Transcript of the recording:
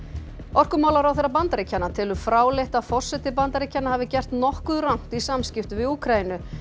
orkumálaráðherra Bandaríkjanna telur fráleitt að forseti Bandaríkjanna hafi gert nokkuð rangt í samskiptum við Úkraínu